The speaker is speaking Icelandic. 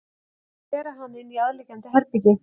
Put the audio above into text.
Þeir bera hana inn í aðliggjandi herbergi.